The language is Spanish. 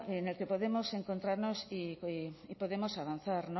en el que podemos encontrarnos y podemos avanzar